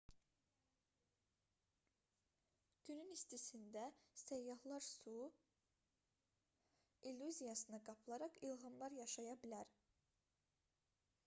günün istisində səyyahlar su ya da başqa şeylər illüziyasına qapılaraq ilğımlar yaşaya bilər